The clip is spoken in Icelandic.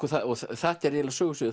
þetta er eiginlega sögusviðið